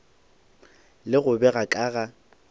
le go bega ka ga